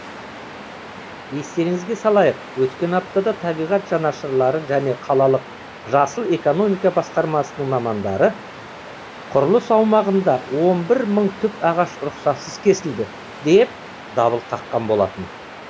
естеріңізге салайық өткен аптада табиғат жанашырлары және қалалық жасыл экономика басқармасының мамандары құрылыс аумағында он бір мың түп ағаш рұқсатсыз кесілді деп дабыл қаққан болатын